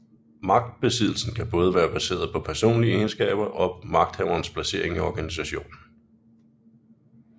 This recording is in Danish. Magtbesiddelsen kan både være baseret på personlige egenskaber og magthaverens placering i organisationen